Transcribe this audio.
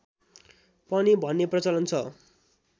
पनि भन्ने प्रचलन छ